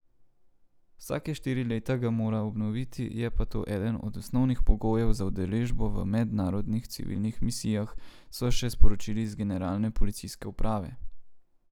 Vsake štiri leta ga mora obnoviti, je pa to eden od osnovnih pogojev za udeležbo v mednarodnih civilnih misijah, so še sporočili z Generalne policijske uprave.